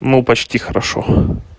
ну почти хорошо